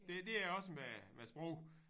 Det det er også med med sprog